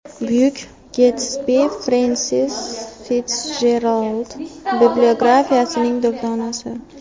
Buyuk Getsbi – Frensis Fitsjerald bibliografiyasining durdonasi.